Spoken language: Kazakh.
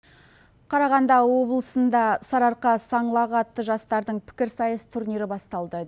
қарағанда облысында сарыарқа саңлағы атты жастардың пікірсайыс турнирі басталды